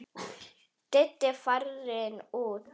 Diddi farinn út.